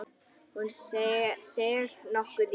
Hún seig nokkuð í.